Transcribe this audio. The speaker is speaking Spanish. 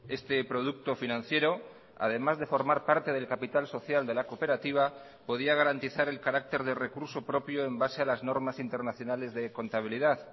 este producto financiero además de formar parte del capital social de la cooperativa podía garantizar el carácter de recurso propio en base a las normas internacionales de contabilidad